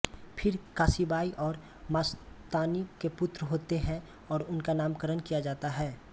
फिर काशीबाई और मस्तानी के पुत्र होते है और उनका नामकरण किया जाता है